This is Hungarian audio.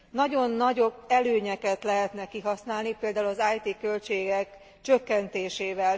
Nagyon nagy előnyöket lehetne kihasználni, például az it költségek csökkentésével.